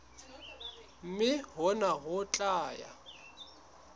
mme hona ho tla ya